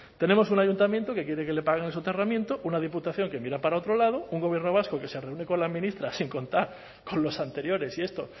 tenemos un ayuntamiento que quiere que le paguen el soterramiento una diputación que mira para otro lado un gobierno vasco que se reúne con la ministra sin contar con los anteriores y esto